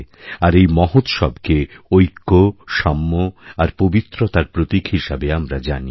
আর এইমহোৎসবকে ঐক্য সাম্য আর পবিত্রতার প্রতীক হিসেবে আমরা জানি